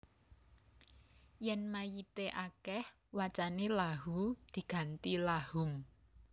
Yèn mayité akèh wacané Lahuu diganti Lahum